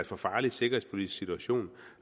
for farlig sikkerhedspolitisk situation